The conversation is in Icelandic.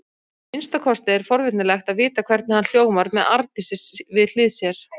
Að minnsta kosti er forvitnilegt að vita hvernig hann hljómar með Arndísi við hlið sér.